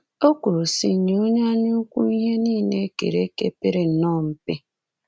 O kwuru, sị: Nye onye anyaukwu ihe niile e kere eke pere nnọọ mpe